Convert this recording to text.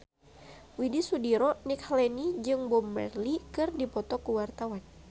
Widy Soediro Nichlany jeung Bob Marley keur dipoto ku wartawan